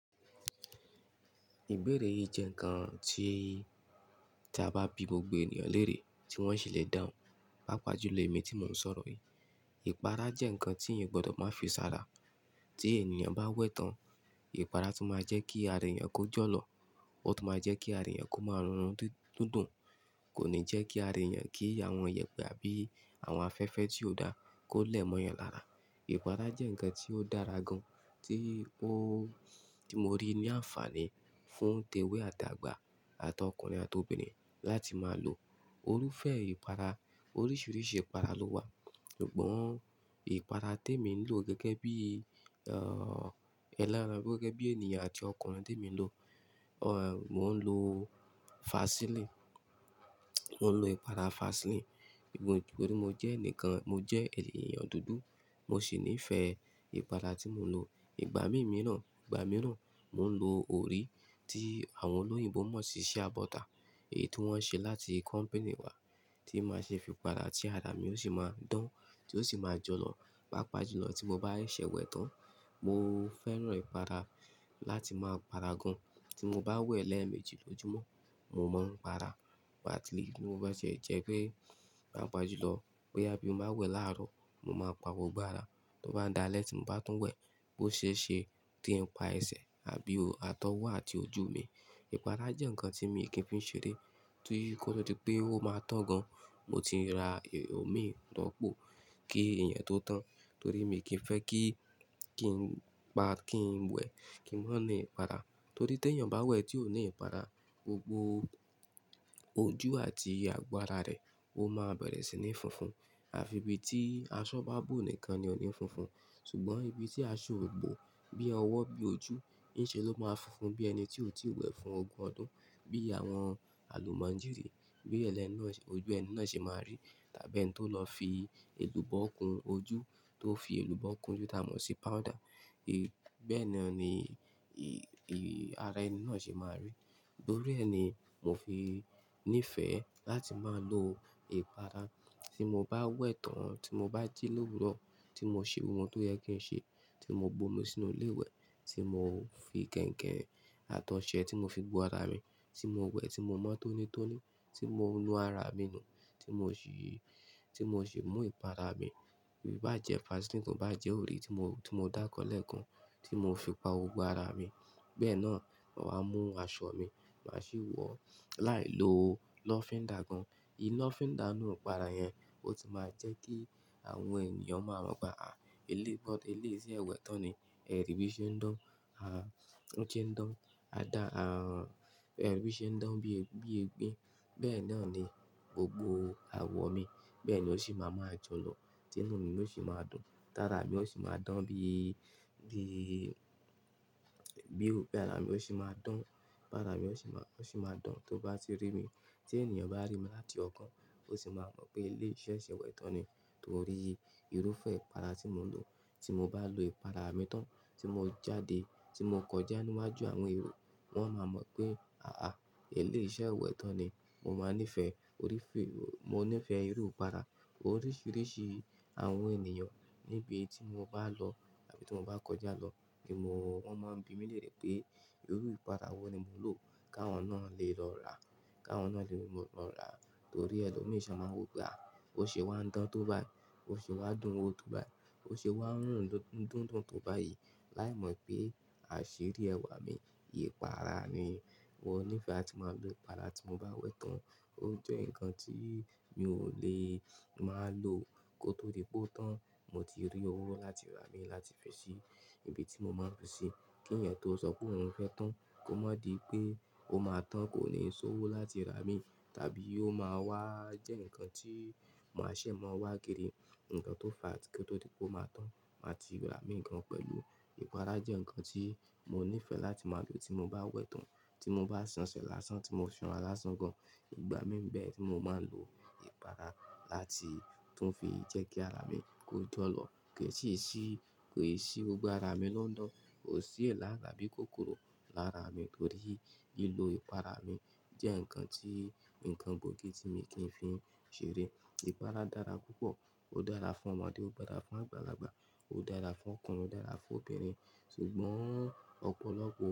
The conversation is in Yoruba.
Ìbéèrè yìí jẹ́ ǹkan tí tí a bá bi gbogbo ènìyàn lérè tí wọ́n sì le dán, pàápàá jùlọ èmi tí mò ń sọ̀rọ̀ yìí. Ìpara jẹ́ ǹkan tí ènìyàn gbọdọ̀ má fisára. Tí ènìyàn bá wẹ̀ tán, ìpara tún máa jẹ́ kí ara ènìyàn kó jọ́lọ̀, ó tún máa jẹ́ kí ara ènìyàn kó máa rùnrun dúndùn, kò ní jẹ́ kí ara ènìyàn kí àwọn ìyẹ̀pẹ̀ àbí àwọn afẹ́fẹ́ tí ò dá kó lẹ̀ mọ́ yẹn lára. Ìpara jẹ́ ǹkan tí ó dára gan tí ó, tí mo rí ní àǹfààní fún tẹ́wẹ́ àti àgbà àti ọkùnrin àti obìnrin láti máa lò. Orúfẹ́ ìpara, oríṣiríṣi ìpara ló wà ṣùgbọ́n ìpara tí èmi ń lò gẹ́gẹ́ bí, ẹlẹ́ran gẹ́gẹ́ bí ènìyàn àti ọkùnrin tí èmi ń lò, mò ń lò Vaseline, mò ń lò ìpara Vaseline. Nítorí mo jẹ́ ẹnìkan, mo jẹ́ ènìyàn dúdú, mo sì nífẹ̀ẹ́ ìpara tí mò ń lò. Ìgbà mí mìíràn, ìgbà mìíràn mò ń lò orí tí àwọn olóyìnbo mọ̀ sí Shea butter èyí tí wọ́n ṣe láti company wà tí màá ṣe fi para tí ara mi yóò sì máa dán, tí ó sì máa jọ́lọ̀. Páápàá jùlọ tí mo bá ń ṣẹ̀wẹ̀ tán, mo fẹ́ràn ìpara láti máa para gan. Tí mo bá wẹ̀ lẹ́ẹ̀mejì lójoojúmọ́, mò mọ́ ń para Vaseline. Mo máa ṣe jẹ́ pé pàápàá jùlọ bóyá bí mo bá wẹ̀ láàárọ̀, mo máa pa òwò gbára tó bá dàálẹ̀ tí mò bá tún wẹ̀ bó ṣe ṣe tí ń pa ẹsẹ̀ àbí atọ́wọ́ àti ojú mi. Ìpara jẹ́ ǹkan tí mi kì í fi ń ṣeré torí kó tó di pé ó máa tán gan, mo ti ra omi tó pọ̀ kí ẹ̀yẹn tó tán torí mi kì í fẹ́ kí, kí n pa, kí n wẹ̀ kí n wá ní ìpara. Torí tí ènìyàn bá wẹ̀ tí ò ní ìpara, gbogbo ojú àti agbára rẹ̀ ó máa bẹ̀rẹ̀ sí ní funfun. Àfi ibi tí aṣọ bá bù nìkan ni ò ní funfun ṣùgbọ́n ibi tí aṣọ ò bù bí ọwọ́ bí ojú, ní ṣe ló máa funfun bí ẹni tí ò tí ì wẹ̀ fún ogún ọdún bí àwọn àlùmọ̀njírì bí ẹlẹ́nu ojú ẹni náà ṣe máa rí tàbí ẹni tó lọ fi èlùbọ́ kun ojú tó fi èlùbọ́ kun ojú tí a mọ̀ sí powder. Ì, bẹ́ẹ̀ nani ara ẹni náà ṣe máa rí. Nítorí ẹ ni mò fi nífẹ̀ẹ́ láti máa lò ìpara. Tí mo bá wẹ̀ tán tí mo bá jí l'òwúrọ̀, tí mo ṣe ohun tó yẹ kí n ṣe, tí mo gbómi sínú ilé ìwẹ̀, tí mo fi kẹ̀ǹkẹ̀ àtọ̀sẹ́ tí mo fi bu ara mi, tí mo wẹ̀ tí mo mọ́ tónítóní, tí mò ń nu ara mi nù, tí mò ṣì, tí mò ṣì mú ìpara mi bíi bá jẹ́ Vaseline, bí bá jẹ́ orí tí mo, tí mo dáko lẹ́ẹ̀kan tí mo fi pa gbogbo ara mi. Bẹ́ẹ̀ náà, màá mú aṣọ mi, màá sì wọ̀ láì lo lọ́fíndà gan. Ìlọ́fíndà inú ìpara yẹn ó sì máa jẹ́ kí àwọn ènìyàn máa mọ̀ pé, àí, eléébót, eléèṣẹ́ wẹ̀ tán ni. Ẹ̀rí bí i ṣe ń dán, àn, ojú ń dán, àdá, àn, ẹrù bí i ṣe ń dán bí, bí egbín. Bẹ́ẹ̀ náà ni gbogbo awọ mi. Bẹ́ẹ̀ ni ó sì máa jọ́lọ̀, tinu ni ó sì máa dùn. Tara mi ó sì máa dán bí, bí, bí òkè ara mi ó sì máa dán. Bara mi ó sì máa, ó sì máa dán tó bá ti rí mi. Tí ènìyàn bá rí mi láti ọ̀kan, ó sì máa mọ̀ pé eléèṣẹ́ wẹ̀ tán ni torí irúfẹ́ ìpara tí mò ń lò. Tí mò bá lo ìpara mi tán tí mo jáde, tí mo kọjá níwájú àwọn èrò, wọ́n máa mọ̀ pé, àá, eléèṣẹ́ wẹ̀ tán ni. Mo máa nífẹ̀ẹ́ orí fẹ́, mo nífẹ̀ẹ́ irú ìpara. Oríṣiríṣi àwọn ènìyàn níbi tí mo bá lọ tàbí tí mo bá kọjá lọ kí mò, wọ́n máa bi mí lérè pé irú ìpara wo ni mò ń lò káwọn náà lè lọ rà, káwọn náà lè mọ̀ lọ rà torí ẹlòmíràn ṣọ máa wò pé, àí, ó ṣe wá ń dán tó bá yí, ó ṣe wá dùn wò tó bá yí, ó ṣe wá ń rùn dúndùn tó bá yí, láì mọ̀ pé àṣírí ẹwà mi, ìpara ni. Mo nífẹ̀ẹ́ láti máa lo ìpara tí mo bá wẹ̀ tán ó jẹ́ ǹkan tí mi ò lè máa lò kó tó dí pé ó tán. Mo ti rí owó láti rà á mí láti fi ṣe níbi tí mò máa fi ṣe. Kí ẹ̀yẹn tó sọ pé òun fẹ́ tán kó má di pé ó máa tán kò ní sowó láti rà á mì tàbí ó máa wà jẹ́ ǹkan tí mò ń ṣe mó máa wá gére, ǹkan tó fa tí kó tó di pé ó máa tán, màá ti rà mì kan pẹ̀lú. Ìpara jẹ́ ǹkan tí mo nífẹ̀ẹ́ láti máa lò tí mo bá wẹ̀ tán, tí mo bá ṣànṣẹ lásán tí mo ṣàn án lásán gan. Ìgbà mí bẹ́ẹ̀ tí mò máa n lo ìpara láti tún fi jẹ́ kí ara mi kó jọ́lọ̀ kí sì sí, kó sì sí ògùn ara mi ló ń dán, kò sí èélá àbí kòkòrò lára mi torí lílò ìpara mi jẹ́ ǹkan tí, ǹkan gbòógì tí mi kí ń fi ń ṣeré. Ìpara dára púpọ̀, ó dára fún ọmọdé, ó dára fún àgbàlagbà, ó dára fún ọkùnrin, ó dára fún obìnrin ṣùgbọ́n ọ̀pọ̀lọpọ̀